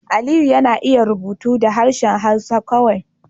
Aliyu yana iya rubutu da harshen Hausa kawai